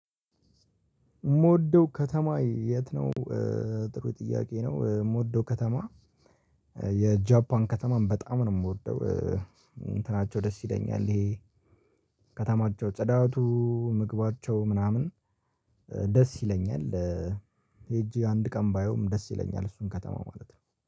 ምወደው ከተማ የት ነው? ጥሩ ጥያቄ ነው ምወደው ከተማ የጃፓን ከተማም በጣም ነው የምወደው እንትናቸው ደስ ይለኛል ይሄ ከተማቸው ጸዳተ ምግባቸው ምናምን ደስ ይለኛል። ሄጄ አንድ ቀን ባየውም ደስ ይለኛል እሱን ከተማ ማለት ነው።